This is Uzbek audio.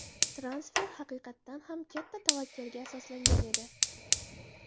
Transfer haqiqatan ham katta tavakkalga asoslangan edi.